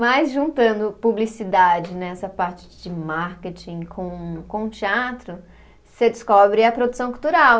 Mas juntando publicidade nessa parte de marketing com com o teatro, você descobre a produção cultural.